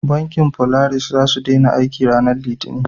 Bankin folaris za su dena aiki ranar litani